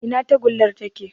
Ina tagullar take?